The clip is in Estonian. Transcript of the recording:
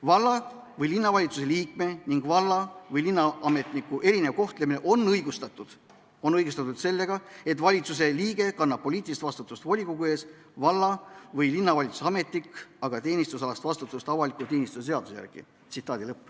Valla- või linnavalitsuse liikme ning valla- või linnaametniku erinev kohtlemine on õigustatud sellega, et valitsuse liige kannab poliitilist vastutust volikogu ees, valla- või linnavalitsuse ametnik aga teenistusalast vastutust avaliku teenistuse seaduse järgi.